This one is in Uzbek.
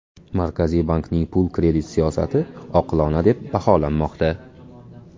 Markaziy bankning pul-kredit siyosati oqilona deb baholanmoqda.